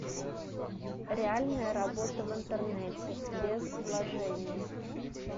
реальная работа в интернете без вложений